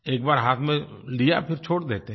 एक बार हाथ में लिया फिर छोड़ देते हैं